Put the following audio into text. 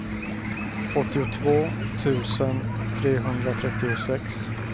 åttiotvå tusen trehundratrettiosex